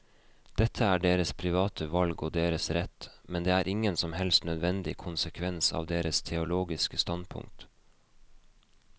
Dette er deres private valg og deres rett, men det er ingen som helst nødvendig konsekvens av deres teologiske standpunkt.